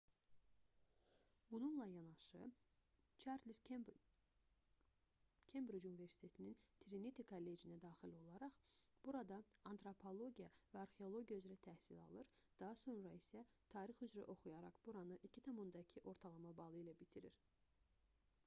bununla yanaşı çarles kembric universitetinin triniti kollecinə daxil olaraq burada antropologiya və arxeologiya üzrə təhsil alır daha sonra isə tarix üzrə oxuyaraq buranı 2:2 ortalama balı ilə bitirir